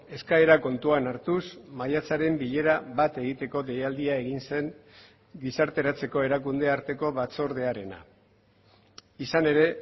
eskaera kontuan hartuz maiatzaren bilera bat egiteko deialdia egin zen gizarteratzeko erakunde arteko batzordearena izan ere